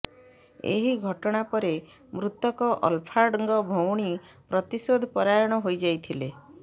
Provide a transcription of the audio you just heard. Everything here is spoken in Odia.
ଏହି ଘଟଣା ପରେ ମୃତକ ଅଲ୍ଲାଫ୍ଙ୍କ ଭଉଣୀ ପ୍ରତିଶୋଧ ପରାୟଣ ହୋଇଯାଇଥିଲେ